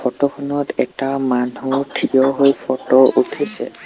Photo খনত এটা মানুহ থিয় হৈ ফটো উঠিছে।